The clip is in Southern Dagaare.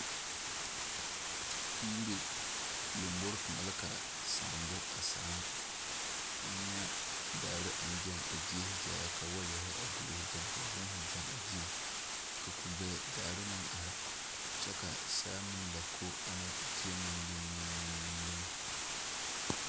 Yiri lombori kaŋa la ka saamo sââ eŋ nyɛ daare aŋ gaŋ a gie gaa ka wɔɔyɛri gori gɛŋ ka bohoŋ gyeɛŋ ka kugbe daare meŋ are kyɛ ka saa meŋ la ko ana gyie ŋa liŋliŋliŋ.